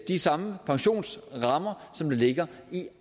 de samme pensionsrammer som ligger i